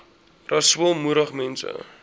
rasool moedig mense